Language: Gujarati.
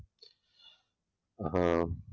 હમ